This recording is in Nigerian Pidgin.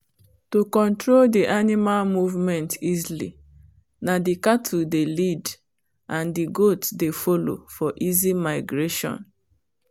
to control the animal movement easily na the cattle dey lead and the goat dey follow for easy migration